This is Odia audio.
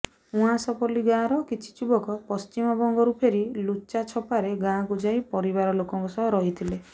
ଉଆସପଲ୍ଲୀ ଗାଁର କିଛି ଯୁବକ ପଶ୍ଚିମବଙ୍ଗରୁ ଫେରି ଲୁଚା ଛପାରେ ଗାଁକୁ ଯାଇ ପରିବାର ଲୋକଙ୍କ ସହ ରହିଥିଲେ